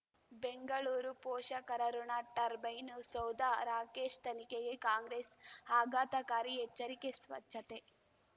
ಬೆಂಗಳೂರು ಪೋಷಕರಋಣ ಟರ್ಬೈನು ಸೌಧ ರಾಕೇಶ್ ತನಿಖೆಗೆ ಕಾಂಗ್ರೆಸ್ ಆಘಾತಕಾರಿ ಎಚ್ಚರಿಕೆ ಸ್ವಚ್ಛತೆ